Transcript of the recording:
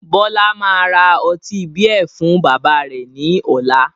Bọlá máa ra ọtí beer fún bàbá rẹ̀ ni ọ̀la